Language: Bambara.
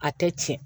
A tɛ tiɲɛ